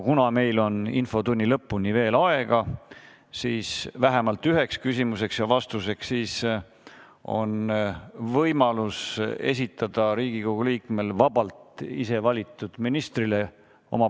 Kuna infotunni lõpuni on aega vähemalt ühe küsimuse ja vastuse jaoks, siis on Riigikogu liikmetel võimalus esitada oma küsimus vabalt valitud ministrile.